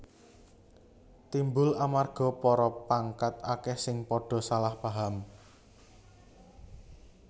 Timbul amarga para pangkat akeh sing padha salah paham